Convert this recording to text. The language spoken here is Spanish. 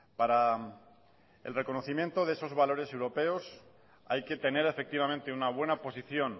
para el reconocimiento de esos valores europeos hay que tener efectivamente una buena posición